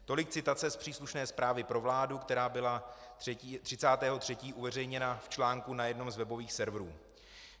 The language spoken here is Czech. Tolik citace z příslušné zprávy pro vládu, která byla 30. 3. uveřejněna v článku na jednom z webových serverů.